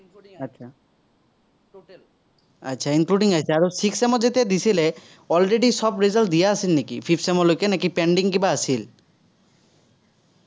including আহিছে, আৰু sixth sem ৰ যেতিয়া দিছিলে, already সব result দিয়া আছিল নেকি fifth sem লৈকে নে pending কিবা আছিল?